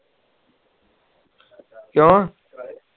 ਕਿਉ